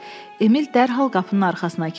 Emil dərhal qapının arxasına keçdi.